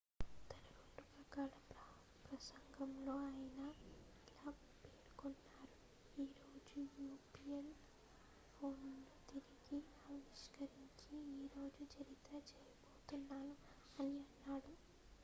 """తన 2 గంటల ప్రసంగంలో ఆయన ఇలా పేర్కొన్నారు" ఈ రోజు యాపిల్ ఫోన్ ను తిరిగి ఆవిష్కరించి ఈ రోజు చరిత్ర చేయబోతున్నాను" అని అన్నాడు.